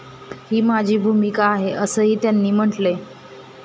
ही माझी भूमिका आहे, असंही त्यांनी म्हटलंय.